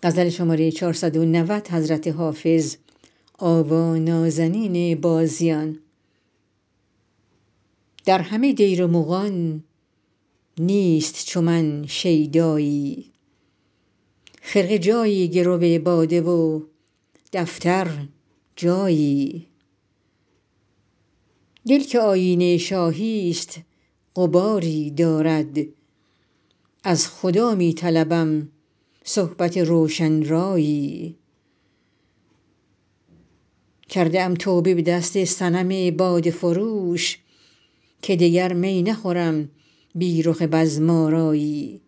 در همه دیر مغان نیست چو من شیدایی خرقه جایی گرو باده و دفتر جایی دل که آیینه شاهی ست غباری دارد از خدا می طلبم صحبت روشن رایی کرده ام توبه به دست صنم باده فروش که دگر می نخورم بی رخ بزم آرایی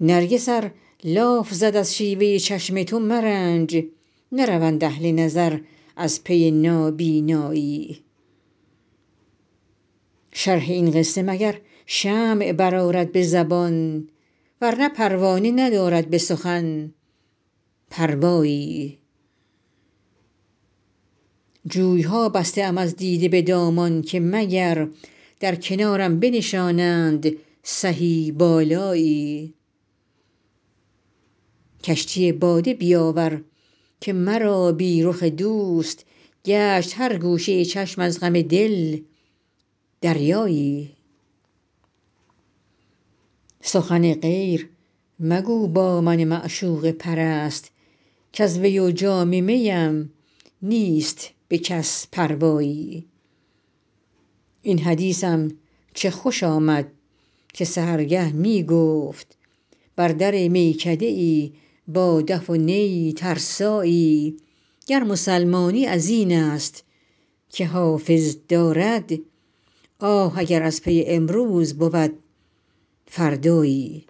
نرگس ار لاف زد از شیوه چشم تو مرنج نروند اهل نظر از پی نابینایی شرح این قصه مگر شمع برآرد به زبان ورنه پروانه ندارد به سخن پروایی جوی ها بسته ام از دیده به دامان که مگر در کنارم بنشانند سهی بالایی کشتی باده بیاور که مرا بی رخ دوست گشت هر گوشه چشم از غم دل دریایی سخن غیر مگو با من معشوقه پرست کز وی و جام می ام نیست به کس پروایی این حدیثم چه خوش آمد که سحرگه می گفت بر در میکده ای با دف و نی ترسایی گر مسلمانی از این است که حافظ دارد آه اگر از پی امروز بود فردایی